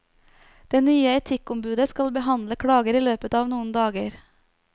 Det nye etikkombudet skal behandle klager i løpet av noen dager.